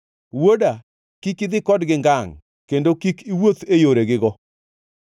Wuoda, kik idhi kodgi ngangʼ kendo kik iwuoth e yoregigo,